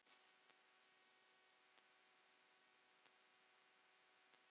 Mínir menn verða fljót